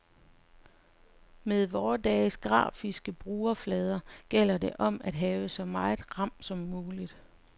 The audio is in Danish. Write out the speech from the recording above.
Med vore dages grafiske brugerflader gælder det om at have så meget ram som muligt.